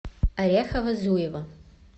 орехово зуево